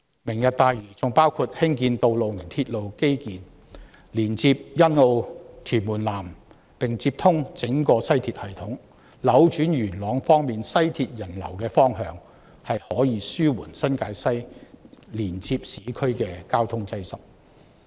"明日大嶼願景"還包括興建道路及鐵路基建，連接欣澳及屯門南，並接通整個西鐵系統，能夠扭轉在元朗乘坐西鐵線的人流方向，令新界西連接市區的交通擠塞得以紓緩。